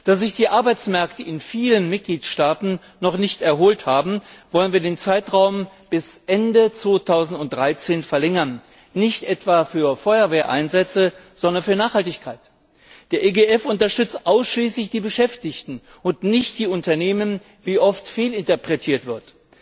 Da sich die Arbeitsmärkte in vielen Mitgliedstaaten noch nicht erholt haben, wollen wir den Zeitraum bis Ende 2013 verlängern nicht etwa für Feuerwehreinsätze, sondern für Nachhaltigkeit. Der EGF unterstützt ausschließlich die Beschäftigten und nicht die Unternehmen, wie oft fehlinterpretiert wird.